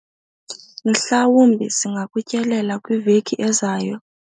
Mhlawumbi singakutyelela kwiveki ezayo.